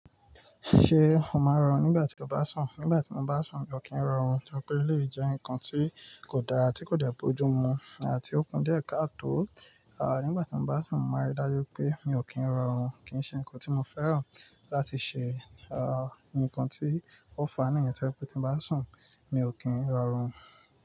Ṣé o máa ń rọrùn nígbà tí o bá sùn? Nígbà tí mo bá sùn, ko kí ń rọrùn, nítorí pé eleyi jẹ́ nǹkan tí kò dára, tí kò de bojú mu àti ó kún díẹ̀ káàtò. À, nígbà tí mo bá sùn, mo máa rí i dájú pé mi ò kí ń rọrùn, kí í ṣe ǹkan tí mo fẹ́ràn láti ṣe. À, ǹkan tí ó fàá nìyẹn, torí pé tí mo bá sùn, mi ò kí ń rọrùn.